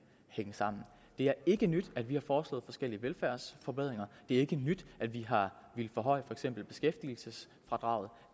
hænge sammen det er ikke nyt at vi har foreslået forskellige velfærdsforbedringer det er ikke nyt at vi har villet forhøje for eksempel beskæftigelsesfradraget